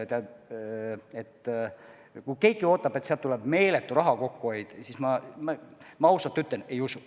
Aga kui keegi ootab, et sealt tuleb meeletu raha kokkuhoid, siis ma ausalt ütlen, et ei usu.